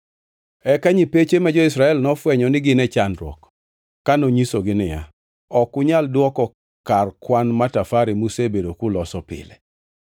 Eka nyipeche ma jo-Israel nofwenyo ni gin e chandruok ka nonyisogi niya, “Ok unyal dwoko kar kwan matafare musebedo kuloso pile.”